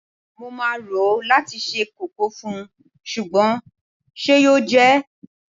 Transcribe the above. Mo máa rò ó láti se kókò fún, ṣùgbọ́n ṣe yóò jẹ́?